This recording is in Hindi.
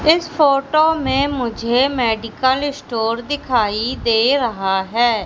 इस फोटो में मुझे मेडिकल स्टोर दिखाइ दे रहा हैं।